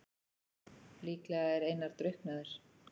Líklega er Einar drukknaður.